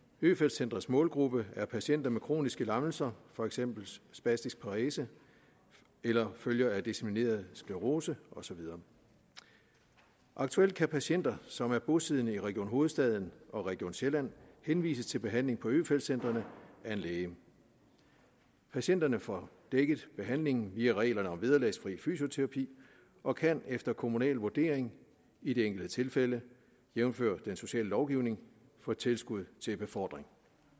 øfeldt centrets målgruppe er patienter med kroniske lammelser for eksempel spastisk parese eller følger af dissemineret sklerose og så videre aktuelt kan patienter som er bosiddende i region hovedstaden og region sjælland henvises til behandling på øfeldt centrene af en læge patienterne får dækket til behandling via reglerne om vederlagsfri fysioterapi og kan efter kommunal vurdering i det enkelte tilfælde jævnfør den sociale lovgivning få tilskud til befordring